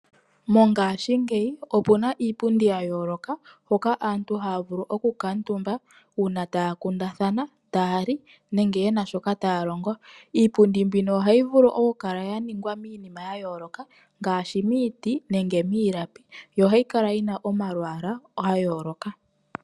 Mongaashingeyi opu na iipundi ya yooloka, hoka aantu haya vulu okukuutumba uuna taya kundathana, taya li nenge ye na shoka taya longo. Iipundi mbino ohayi vulu okukala ya ningwa miinima ya yooloka ngaashi miiti nenge miilapi, yo ohayi kala yi na omalwaala ga yooloka.